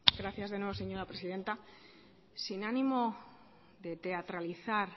gracias de nuevo señora presidenta sin ánimo de teatralizar